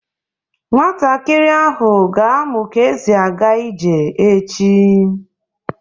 Nwatakịrị ahụ ga-amụ ka esi aga ije echi.